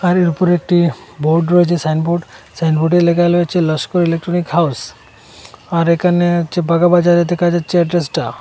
বাড়ির উপরে একটি বোর্ড রয়েচে সাইনবোর্ড সাইনবোর্ডে ল্যাখা লয়েচে লস্কর ইলেকট্রনিক হাউস আর একানে হচ্ছে বাগাবাজারে দেখা যাচ্ছে এড্রেসটা।